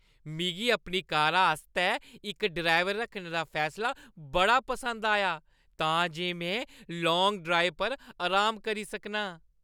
मिगी अपनी कारा आस्तै इक ड्राइवर रक्खने दा फैसला बड़ा पसंद आया तां जे में लांग ड्राइव पर अराम करी सकां।